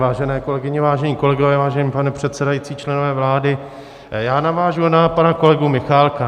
Vážené kolegyně, vážení kolegové, vážený pane předsedající, členové vlády, já navážu na pana kolegu Michálka.